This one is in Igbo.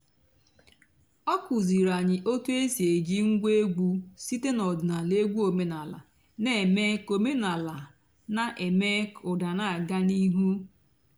ọ́ kụ́zíìrí ànyị́ ótú é sì èjí ǹgwá ègwú sìté n'ọ̀dị́náàlà ègwú òménàlà nà-èmée kà òménàlà nà-èmée kà ụ́dà nà-àgá n'íìhú.